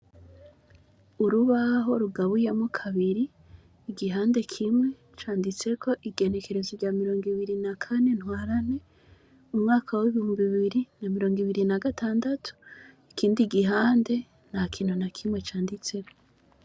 Icumba c' isomero cubakishijwe n' amatafar' ahiye, kuruhome har' ikibaho cirabura, igihande kimwe canditsek' itariki, igenekerezo rya 24/03/2026, ikindi gihande ntakintu nakimwe canditseko.